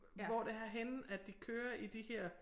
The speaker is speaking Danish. Hvor det er henne at de kører i de her